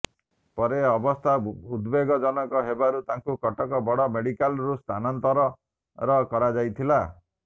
ପରେ ଅବସ୍ଥା ଉଦ୍ବେଗଜନକ ହେବାରୁ ତାଙ୍କୁ କଟକ ବଡ଼ ମେଡିକାଲ୍କୁ ସ୍ଥାନାନ୍ତର କରାଯାଇଥିଲା